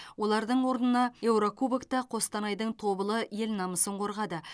олардың орнына еурокубокта қостанайдың тобылы ел намысын қорғады